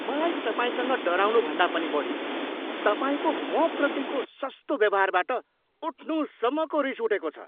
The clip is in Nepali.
मलाई तपाईँसँग डराउनुभन्दा पनि बढी तपाईँको मप्रतिको सस्तो व्यवहारबाट उठ्नुसम्मको रिस उठेको छ।